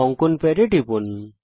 অঙ্কন প্যাডে টিপুন